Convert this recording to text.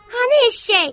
Hanı eşşək?